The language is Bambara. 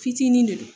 Fitinin de don